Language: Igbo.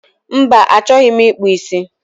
Mba, achọghị m ịkpụ ísí